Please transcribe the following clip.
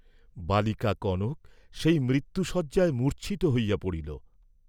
বালিকা কনক সেই মৃত্যুশয্যায় মূর্চ্ছিত হইয়া পড়িল।